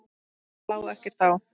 Þá lá ekkert á.